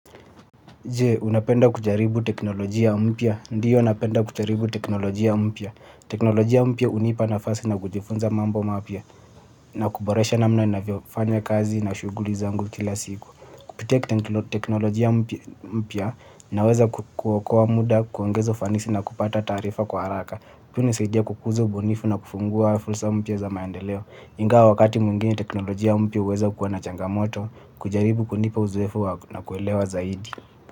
Jee, unapenda kujaribu teknolojia mpia? Ndiyo napenda kujaribu teknolojia mpia. Teknolojia mpia unipa nafasi na kujifunza mambo mapya na kuboresha namna naeza fanya kazi na shuguli zangu kila siku. Kupitia kutengilo teknolojia mpia na weza kuokoa muda, kuongeza ufanisi na kupata taarifa kwa haraka. Hunisaidia kukuza ubunifu na kungua fursa mpya za maendeleo. Ingawa wakati mwingene teknolojia mpia uweza kuwa na changamoto, kujaribu kunipa uzoefu na kuelewa zaidi.